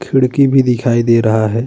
खिड़की भी दिखाई दे रहा है।